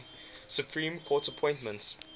supreme court appointments